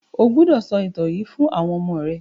O gbódò sọ ìtàn yíì fún àwọn ọmọ rẹ!